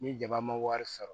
Ni jaba ma wari sɔrɔ